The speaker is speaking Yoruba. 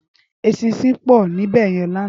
Éṣìnṣìn pò níbèyèn làná